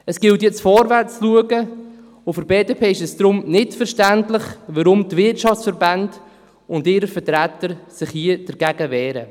Es gilt jetzt nach vorne zu schauen, und es ist für die BDP daher nicht verständlich, weshalb sich die Wirtschaftsverbände und ihre Vertreter hier dagegen wehren.